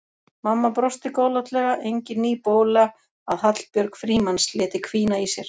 Mamma brosti góðlátlega, engin ný bóla að Hallbjörg Frímanns léti hvína í sér.